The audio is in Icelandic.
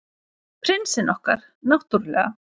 Prinsinn okkar, náttúrlega.